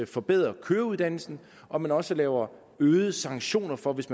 forbedre køreuddannelsen og man også laver øgede sanktioner for hvis